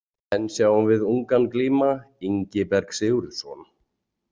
Enn sjáum ungan glíma Ingiberg Sigurðsson.